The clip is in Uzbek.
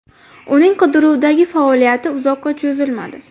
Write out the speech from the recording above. Uning qidiruvdagi faoliyati uzoqqa cho‘zilmadi.